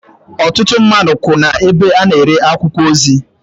Ọtụtụ mmadụ kwú ebe a na-ere akwụkwọ ozi.